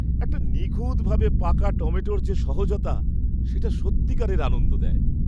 একটা নিখুঁতভাবে পাকা টমেটোর যে সহজতা, সেটা সত্যিকারের আনন্দ দেয়।